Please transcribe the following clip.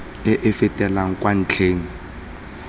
e e fetelang kwa ntlheng